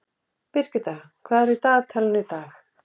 Birgitta, hvað er á dagatalinu í dag?